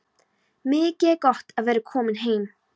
Mikið er gott að vera komin heim!